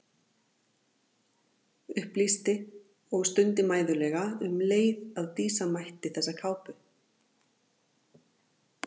Upplýsti og stundi mæðulega um leið að Dísa ætti þessa kápu.